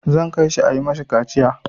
Zan kai shi a yi ma shi kaciya.